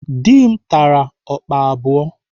Dị m tara ọkpa abụọ.